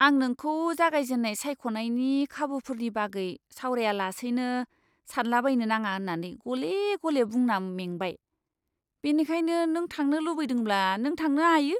आं नोंखौ जागायजेन्नाय सायख'नायनि खाबुफोरनि बागै सावरायालासैनो सानलाबायनो नाङा होन्नानै गले गले बुंना मेंबाय, बेनिखायनो नों थांनो लुबैदोंब्ला नों थांनो हायो।